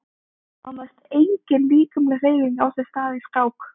Nánast engin líkamleg hreyfing á sér stað í skák.